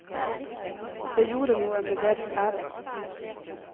Det gjorde noe med deres ære.